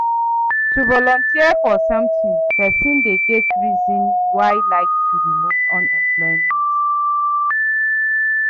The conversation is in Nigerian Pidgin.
To volunteer for something persin de get reason why like to remove unemployment